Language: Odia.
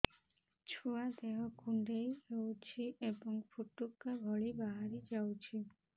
ଛୁଆ ଦେହ କୁଣ୍ଡେଇ ହଉଛି ଏବଂ ଫୁଟୁକା ଭଳି ବାହାରିଯାଉଛି